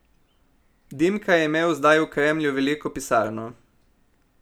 Dimka je imel zdaj v Kremlju veliko pisarno.